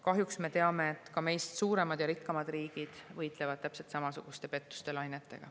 Kahjuks me teame, et ka meist suuremad ja rikkamad riigid võitlevad täpselt samasuguste pettuselainetega.